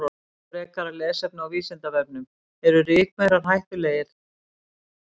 Frekara lesefni á Vísindavefnum: Eru rykmaurar hættulegir?